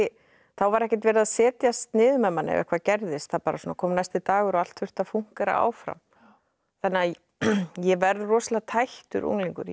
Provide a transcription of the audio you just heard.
þá var ekkert verið að setjast niður með manni hvað gerðist það bara kom næsti dagur og allt þurfti að fúnkera áfram þannig að ég verð rosalega tættur unglingur ég